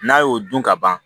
N'a y'o dun ka ban